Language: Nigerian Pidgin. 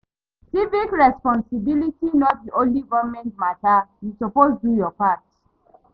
Civic responsibility no be only government mata; yu suppose do yur part